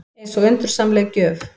Eins og undursamleg gjöf.